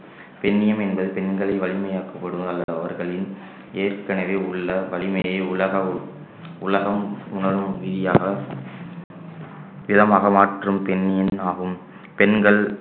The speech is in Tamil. பெண்ணியம் என்பது பெண்களை வலிமையாக்கப்படுவதாக அவர்களின் ஏற்கனவே உள்ள வலிமையை உலக உலகம் உணரும் விதியாக விதமாக மாற்றும் பெண்ணியம் ஆகும் பெண்கள்